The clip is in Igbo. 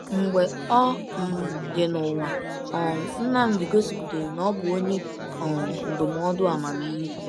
Mgbe ọ um dị n’ụwa, um Nnamdi gosipụtara na ọ bụ onye um ndụmọdụ amamihe.